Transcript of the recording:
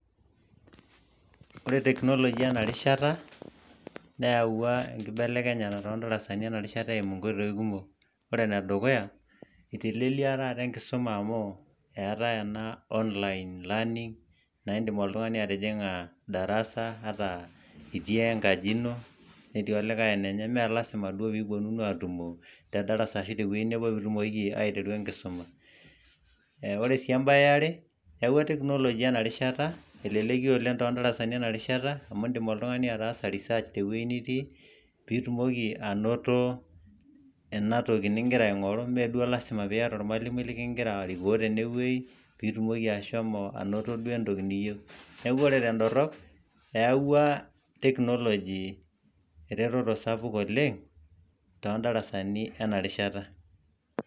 ore technology ena rishata neyawua enkibelekenyata toodarasani ena rishata too nkoitoi kumok. ore ene dukuya eiteleliaa taata enkisuma amu, eetae ta ena online learning naa iddim oltung'ani atijing'a darasa ata itii enkaji ino, netii olikae enenye, mme lasima duo pee ipuonunu aatumo te darsa ashu te wueji nebo pee itumokiki aaitwru enkisuma. ore sii ebaye yiare eyawua technology ena rishata eleleki oleng toodarasani ena rishata amu idim oltung'ani ataasa research te wueji nitii, nitumoki anoto ena toki nigira aing'oru ime duo lasima pee iyata ormalimui likigira arikoo tenewueji, pee itumoki ashomo anoto duo entoki niyieu, neeku ore tedorop, eyawua technology eretoto sapuk oleng too darasani ena rishata.